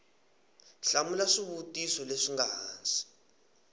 hlamula swivutiso leswi nga hansi